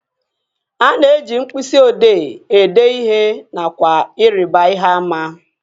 A na-eji mkpịsị odee ede ihe nakwa ịrịba ihe àmà